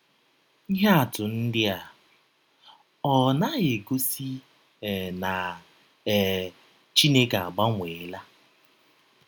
Ihe atụ ndị a ọ́ naghị egọsi um na um Chineke agbanweela?